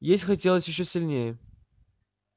есть хотелось ещё сильнее